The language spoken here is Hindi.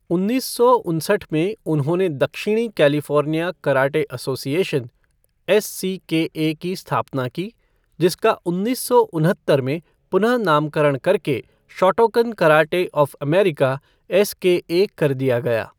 उन्नीस सौ उनसठ में, उन्होंने दक्षिणी कैलिफ़ोर्निया कराटे एसोसिएशन, एससीकेए की स्थापना की, जिसका उन्नीस सौ उनहत्तर में पुनः नामकरण करके Shotokan karate of America SKA कर दिया गया।